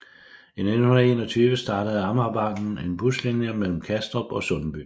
I 1921 startede Amagerbanen en buslinje mellem Kastrup og Sundby